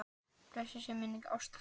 Blessuð sé minning Ástu frænku.